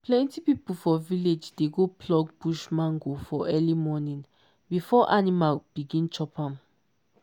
plenty people for village dey go pluck bush mango for early morning before animal begin chop am.